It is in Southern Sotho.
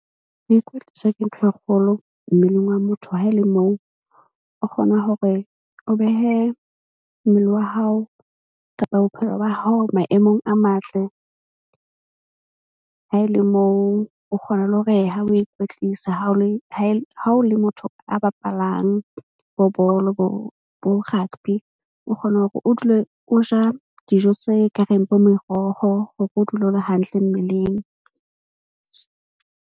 Ho ikwetlisa ke ntho e kgolo mmeleng wa motho. Ha e le moo o kgona hore o behe mmele wa hao kapa bophelo ba hao maemong a matle. Ha e le moo o kgona le hore ha o ikwetlisa ha o le motho a bapalang bo bolo bo rugby, o kgona hore o dule o ja dijo tse kareng bo meroho hore o dule o le hantle mmeleng.